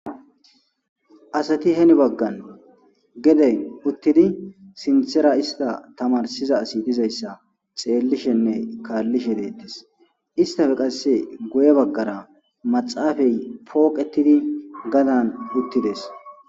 Asati heni baggan gede uttidi sinthera ista tamarsiza asi dizayssa xeellishenne kaallishe deettes. Istafe qasse guye baggara maxaafey pooqettidi gadan uttides.